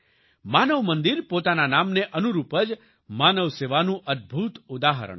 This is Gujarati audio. માનવ મંદિર પોતાના નામને અનુરૂપ જ માનવ સેવાનું અદભુત ઉદાહરણ છે